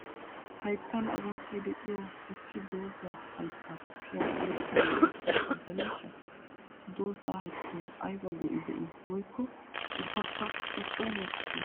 Hayttan agunttay de'iyo issidooza hayttaa kushiyan oyqqi be'iyakko caddeneshsha? Ha doozaa hayttaw aybba go"i de'i woykko ubbakka i coo mokkide?